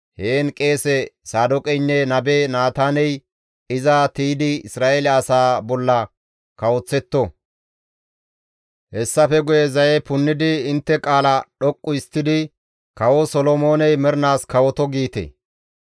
Heen qeese Saadooqeynne nabe Naataaney iza tiydi Isra7eele asaa bolla kawoththetto; hessafe guye zaye punnidi intte qaala dhoqqu histtidi, ‹Kawo Solomooney mernaas kawoto!› giite.